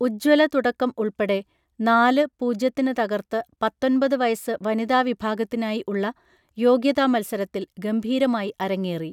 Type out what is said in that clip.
ഉജ്ജ്വല തുടക്കം ഉൾപ്പെടെ നാല് പൂജ്യത്തിന് തകർത്ത് പത്തൊൻപത് വയസ്സ് വനിതാ വിഭാഗത്തിനായി ഉള്ള യോഗ്യതാ മത്സരത്തിൽ ഗംഭീരമായി അരങ്ങേറി